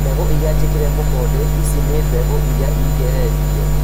Mbegũ iria njĩkĩre mũkonde. Ici nĩ mbegũ iria igeretio